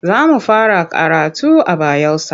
Za mu fara karatu a Bayelsa.